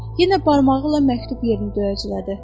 Yenə barmağı ilə məktub yerini döyəclədi.